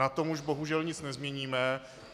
Na tom už bohužel nic nezměníme.